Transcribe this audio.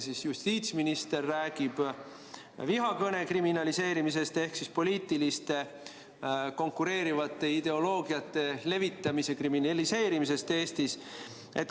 Teie justiitsminister räägib vihakõne kriminaliseerimisest ehk poliitiliste konkureerivate ideoloogiate levitamise kriminaliseerimisest Eestis.